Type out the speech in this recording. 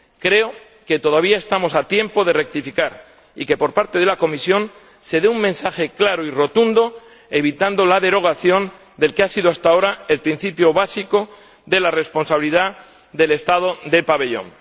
Creo que todavía estamos a tiempo de rectificar y de que, por parte de la Comisión, se dé un mensaje claro y rotundo evitando la derogación del que ha sido hasta ahora el principio básico, el de la responsabilidad del Estado del pabellón.